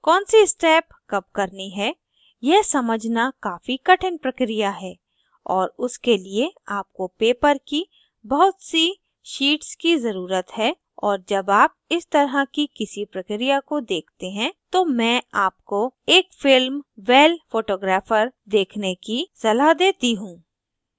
कौन सी step कब करनी है यह समझना काफी कठिन प्रक्रिया है और उसके लिए आपको paper की बहुत सी शीट्स की ज़रुरत है और जब आप इस तरह की किसी प्रक्रिया को देखते हैं तो मैं आपको एक film well photographer देखने की सलाह देती हूँ